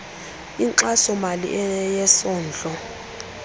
inkxaso mali yesondlo